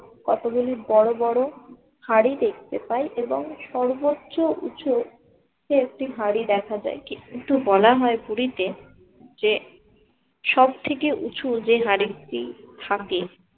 কতগুলি বড় বড় হাঁড়ি দেখতে পাই এবং সর্বোচ্চ উঁচু যে একটি হাড়ি দেখা দেয় কিন্তু বলা হয় পুরীতে যে সবথেকে উঁচু যে হাড়ি টি থাকে